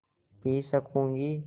P सकँूगी